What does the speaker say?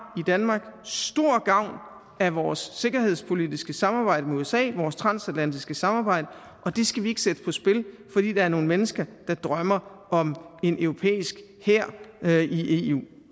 stor gavn af vores sikkerhedspolitiske samarbejde med usa vores transatlantiske samarbejde og det skal vi ikke sætte på spil fordi der er nogle mennesker der drømmer om en europæisk hær i eu